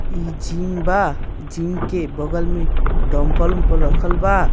इ जिम बा जिम के बगल में दम्पल - उमपल रखल बा।